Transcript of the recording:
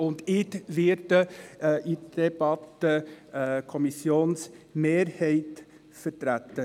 Ich selber werde in der Debatte die Kommissionsmehrheit vertreten.